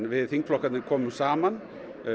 við þingflokkarnir komu saman